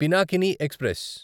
Pinakini express